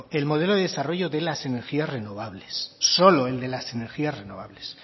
el modelo de desarrollo de las energías renovables solo el de las energías renovables